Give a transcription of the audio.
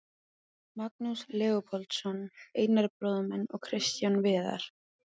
Magnús Leópoldsson, Einar bróðir minn og Kristján Viðar.